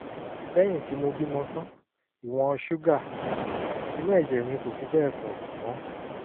lẹ́yìn tí mo bímọ tán ìwọ̀n ṣúgà inú ẹ̀jẹ̀ mi kò fi bẹ́ẹ̀ pọ̀ mọ́